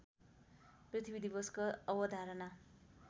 पृथ्वी दिवसको अवधारणा